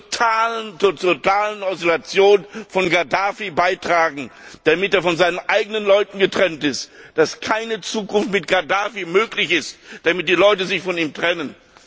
Wir müssen zur totalen Isolation Gaddafis beitragen, damit er von seinen eigenen Leuten getrennt ist, damit keine Zukunft mit Gaddafi möglich ist, damit die Leute sich von ihm trennen.